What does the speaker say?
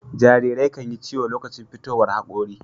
Jarirai kan Yi ciyo lokacin fitowar hakori